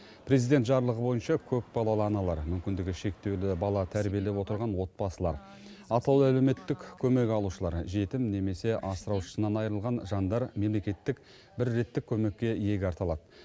президент жарлығы бойынша көпбалалы аналар мүмкіндігі шектеулі бала тәрбиелеп отырған отбасылар атаулы әлеуметтік көмек алушылар жетім немесе асыраушысынан айырылған жандар мемлекеттік бір реттік көмекке иек арта алады